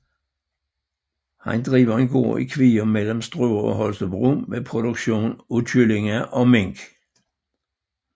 Han driver en gård i Kvium mellem Struer og Holstebro med produktion af kyllinger og mink